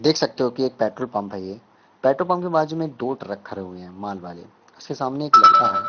देख सकते हो कि एक पेट्रोल पंप है ये पेट्रोल पंप के बाज़ू में दो ट्रक रखे हुए हैं माल वाले उसके सामने एक लड़का है।